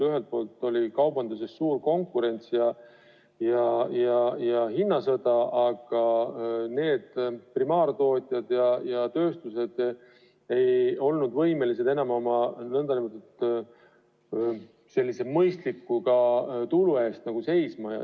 Ühelt poolt oli kaubanduses suur konkurents ja hinnasõda, aga primaartootjad ja tööstused ei olnud võimelised enam oma mõistliku tulu eest seisma.